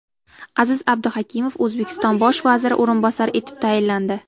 Aziz Abduhakimov O‘zbekiston bosh vaziri o‘rinbosari etib tayinlandi.